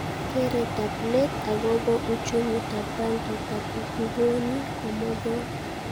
Keretab let akobo uchumitab bankitab ngwony komogol